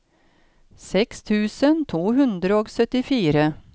seks tusen to hundre og syttifire